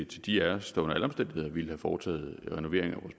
til de af os der under alle omstændigheder ville have foretaget renovering af